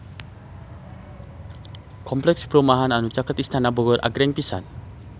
Kompleks perumahan anu caket Istana Bogor agreng pisan